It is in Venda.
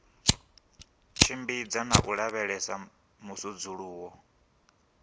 tshimbidza na u lavhelesa musudzuluwo